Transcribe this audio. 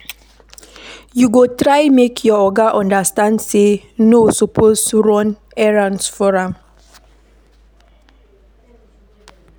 You go try make your oga understand sey no suppose run errands for am.